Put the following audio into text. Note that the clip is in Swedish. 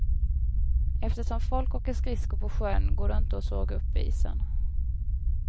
Eftersom folk åker skridsko på sjön, går det inte att såga upp isen.